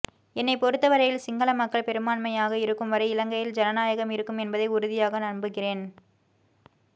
என்னைப் பொறுத்தவரையில் சிங்களமக்கள் பெரும்பான்மையாக இருக்குவரை இலங்கையில் ஜனநாயகம் இருக்கும் என்பதை உறுதியாக நம்புகிறேன்